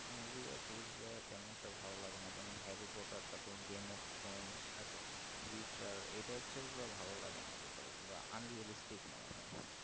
নকুল দাঁড় series গুলো তেমন একটা ভালো লাগে না হ্যারি পটার তা পুরো Game of thrones witcher ভালো লাগে না অন্তত মনে হয়